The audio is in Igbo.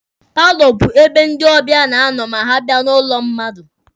Paalọ bụ ebe ndị ọbịa na-anọ ma ha bịa n'ụlọ mmadụ.